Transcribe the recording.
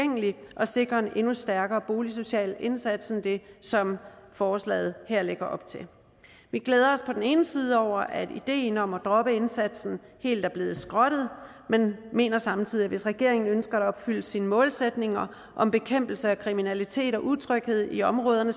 sikre en endnu stærkere boligsocial indsats end det som forslaget her lægger op til vi glæder os på den ene side over at ideen om at droppe indsatsen helt er blevet skrottet men mener samtidig at hvis regeringen ønsker at opfylde sine målsætninger om bekæmpelse af kriminalitet og utryghed i områderne